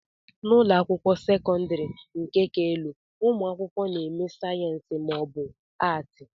n'ụlọ akwụkwọ sekọndrị nke ka elu ụmụ akwụkwọ na-eme sayensị ma ọ bụ Atị